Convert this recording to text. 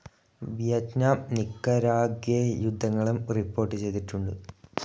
Vietnam Nicaragua യുദ്ധങ്ങളും report ചെയ്തിട്ടുണ്ട്.